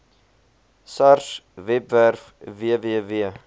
sars webwerf www